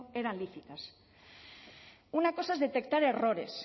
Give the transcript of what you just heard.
eran lícitas una cosa es detectar errores